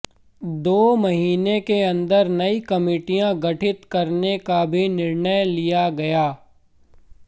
दो महीने के अंदर नई कमिटियां गठित करने का भी निर्णय लिया गया